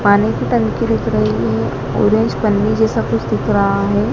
पानी की टंकी रख रही है। ऑरेंज कलर जैसा कुछ दिख रहा है।